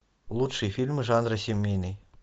лучшие фильмы жанра семейный